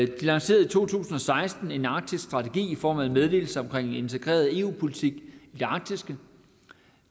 de lancerede i to tusind og seksten en arktisk strategi i form af en meddelelse om integreret eu politik i det arktiske